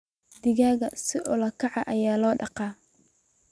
Digaagga si ula kac ah ayaa loo dhaqaa.